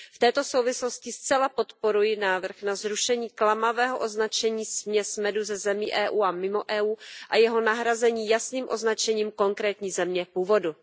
V této souvislosti zcela podporuji návrh na zrušení klamavého označení směs medu ze zemí EU a mimo EU a jeho nahrazení jasným označením konkrétní země původu.